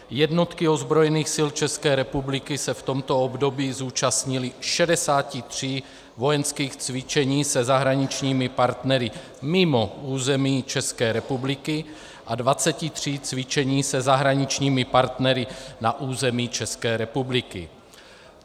Jednotky ozbrojených sil České republiky se v tomto období zúčastnily 63 vojenských cvičení se zahraničními partnery mimo území České republiky a 23 cvičení se zahraničními partnery na území České republiky.